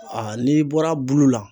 n'i bɔr'a bulu la